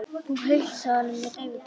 Hún heilsaði honum með daufu brosi.